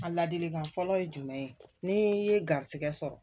A ladilikan fɔlɔ ye jumɛn ye ni ye garisigɛ sɔrɔ